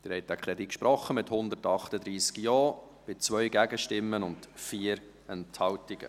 Sie haben diesen Antrag angenommen, mit 138 Ja-Stimmen bei 2 Gegenstimmen und 4 Enthaltungen.